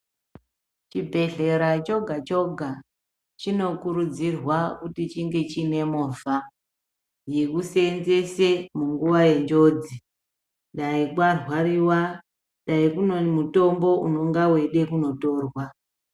Chibhehlera choga-choga chinokurudzirwa kuti chinge chiine movha yekuseenzese munguva yenjodzi. Dai kwarwariwa dai kune mutombo unonga weide kunotorwa.